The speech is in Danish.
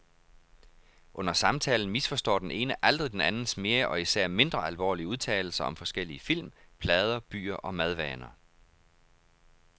Under samtalen misforstår den ene aldrig den andens mere og især mindre alvorlige udtalelser om forskellige film, plader, byer og madvaner.